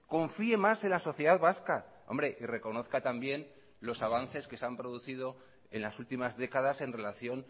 confíe más en la sociedad vasca hombre y reconozca también los avances que se han producido en las últimas décadas en relación